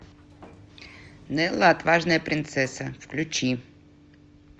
нелла отважная принцесса включи